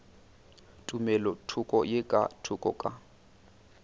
tumelothoko ye ka thoko ka